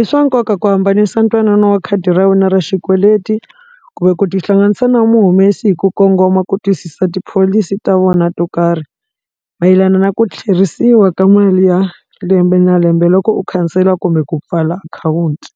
i swa nkoka ku hambanisa ntwanano wa khadi ra wena ra xikweleti kumbe ku tihlanganisa na mu humesi hi ku kongoma ku twisisa tipholisi ta vona to karhi mayelana na ku tlherisiwa ka mali ya lembe na lembe loko u khansela kumbe ku pfala akhawunti.